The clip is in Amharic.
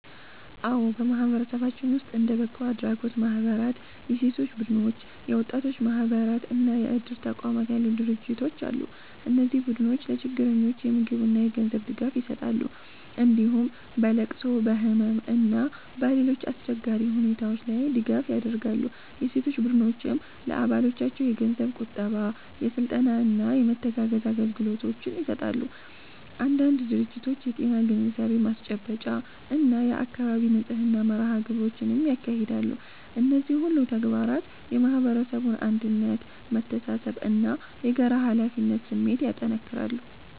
አዎ፣ በማህበረሰባችን ውስጥ እንደ በጎ አድራጎት ማህበራት፣ የሴቶች ቡድኖች፣ የወጣቶች ማህበራት እና የእድር ተቋማት ያሉ ድርጅቶች አሉ። እነዚህ ቡድኖች ለችግረኞች የምግብና የገንዘብ ድጋፍ ይሰጣሉ፣ እንዲሁም በለቅሶ፣ በህመም እና በሌሎች አስቸጋሪ ሁኔታዎች ላይ ድጋፍ ያደርጋሉ። የሴቶች ቡድኖችም ለአባሎቻቸው የገንዘብ ቁጠባ፣ የስልጠና እና የመተጋገዝ አገልግሎቶችን ይሰጣሉ። አንዳንድ ድርጅቶች የጤና ግንዛቤ ማስጨበጫ እና የአካባቢ ንጽህና መርሃ ግብሮችንም ያካሂዳሉ። እነዚህ ሁሉ ተግባራት የማህበረሰቡን አንድነት፣ መተሳሰብ እና የጋራ ኃላፊነት ስሜት ያጠናክራሉ።